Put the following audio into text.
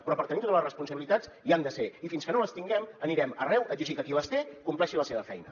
però per tenir totes les responsabilitats hi han de ser i fins que no les tinguem anirem arreu a exigir que qui les té compleixi la seva feina